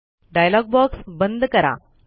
dialogue box बंद करा